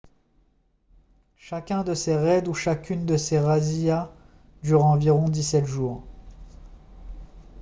chacun de ces raids ou chacune de ces razzias dure environ 17 jours